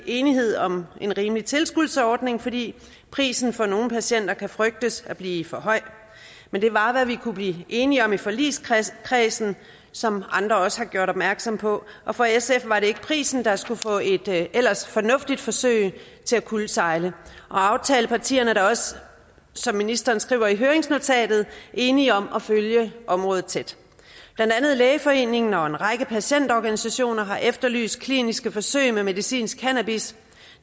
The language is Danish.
enighed om en rimelig tilskudsordning fordi prisen for nogle patienter kan frygtes at blive for høj men det var hvad vi kunne blive enige om i forligskredsen som andre også har gjort opmærksom på og for sf er det ikke prisen der skulle få et ellers fornuftigt forsøg til at kuldsejle aftalepartierne er da også som ministeren skriver i høringsnotatet enige om at følge området tæt blandt andet lægeforeningen og en række patientorganisationer har efterlyst kliniske forsøg med medicinsk cannabis